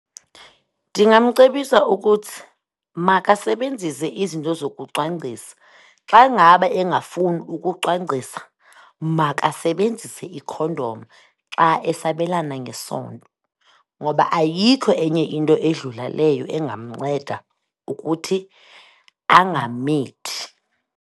Ndingamcebisa ukuthi makasebenzise izinto zokucwangcisa. Xa ngaba engafuni ukucwangcisa makasebenzise ikhondom xa esabelana ngesondo ngoba ayikho enye into edlula leyo engamnceda ukuthi angamithi.